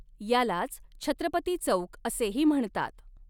यालाच छत्रपती चौक असेही म्हणतात.